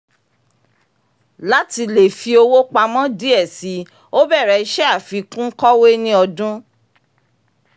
lati lè fi owó pamọ́ díẹ̀ síi ó bẹ̀rẹ̀ iṣẹ́ àfikún kọ́wé ní ọdún